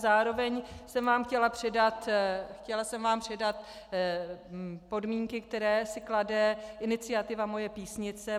Zároveň jsem vám chtěla předat podmínky, které si klade iniciativa Moje Písnice.